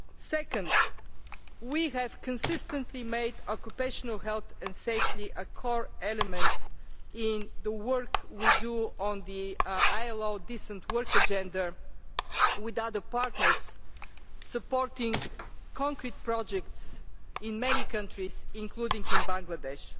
Secondly, we have consistently made occupational health and safety a core element in the work we do on the ILO Decent Work Agenda and, with other partners, we are supporting concrete projects in many countries including Bangladesh.